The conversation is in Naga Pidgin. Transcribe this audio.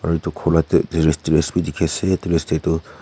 etu kholot te tourist bhi dekhi ase etu tourist tu--